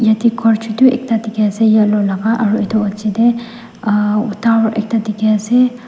yatae khor chutu ekta dikhi ase yellow laka aru edu pichae tae ahh tower ekta dikhiase.